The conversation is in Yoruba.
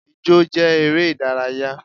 Ijọ́ jẹ́ eré ìdárayá.